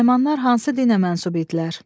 Naymanlar hansı dinə mənsub idilər?